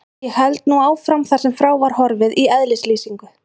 Ég held nú áfram þar sem frá var horfið í eðlislýsingu